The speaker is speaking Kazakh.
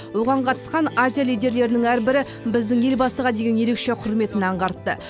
оған қатысқан азия лидерлерінің әрбірі біздің елбасыға деген ерекше құрметін аңғартты